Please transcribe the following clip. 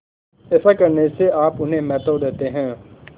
ऐसा करने से आप उन्हें महत्व देते हैं